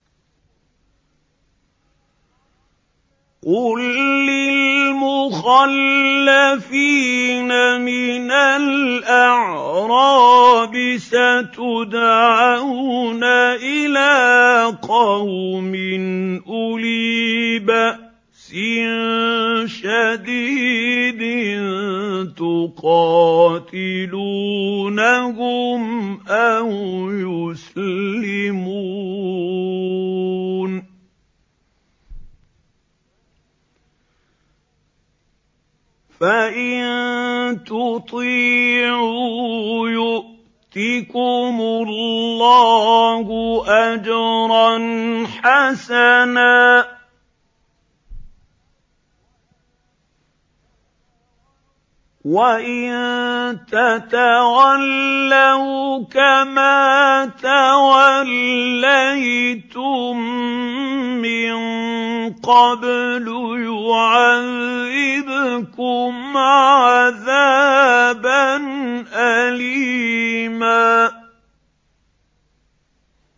قُل لِّلْمُخَلَّفِينَ مِنَ الْأَعْرَابِ سَتُدْعَوْنَ إِلَىٰ قَوْمٍ أُولِي بَأْسٍ شَدِيدٍ تُقَاتِلُونَهُمْ أَوْ يُسْلِمُونَ ۖ فَإِن تُطِيعُوا يُؤْتِكُمُ اللَّهُ أَجْرًا حَسَنًا ۖ وَإِن تَتَوَلَّوْا كَمَا تَوَلَّيْتُم مِّن قَبْلُ يُعَذِّبْكُمْ عَذَابًا أَلِيمًا